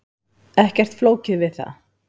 Ekkert flókið við það.